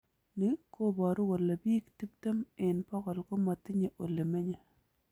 Ni koboru kole biik tiptem eng bokol komatinye ole menye